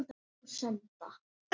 Þá var von á góðu.